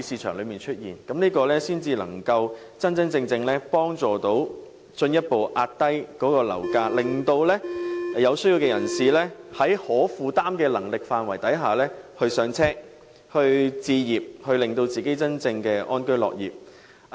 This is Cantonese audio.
這樣才能真正有助進一步遏抑樓價，令有需要的人士能夠在可負擔的能力範圍內"上車"，令他們真正可以安居樂業。